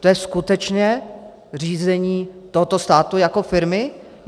To je skutečně řízení tohoto státu jako firmy?